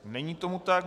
Není tomu tak.